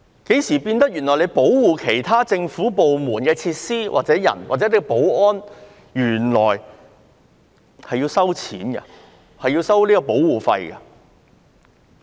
警務處保護其他政府部門的設施、人員或執行保安，何時起要收取保護費了？